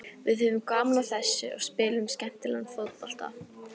Við höfðum gaman af þessu og spiluðum skemmtilegan fótbolta.